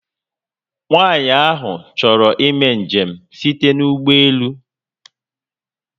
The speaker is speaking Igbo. Nwaànyị ahụ chọrọ imé njem site n'ụgbọelu